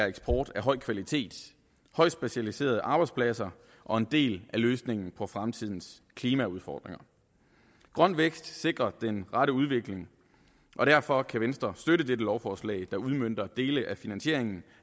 eksport af høj kvalitet højt specialiserede arbejdspladser og en del af løsningen på fremtidens klimaudfordringer grøn vækst sikrer den rette udvikling og derfor kan venstre støtte dette lovforslag der udmønter dele af finansieringen